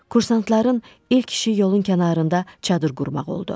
Kursantların ilk işi yolun kənarında çadır qurmaq oldu.